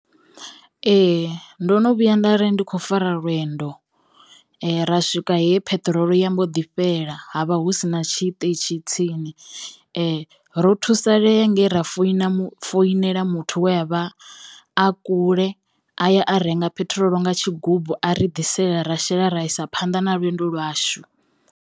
Ee. Ndo no vhuya nda ri ndi kho fara lwendo ra swika he pheṱirolo ya mbo ḓi fhela ha vha hu sina tshiṱitshi tsini ro thusalea ngei ra foina foinela muthu we a vha a kule aya a renga phethirolo nga tshigubu a ri ḓisela ra shela ra isa phanḓa na lwendo lwashu.